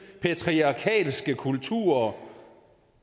patriarkalske kulturer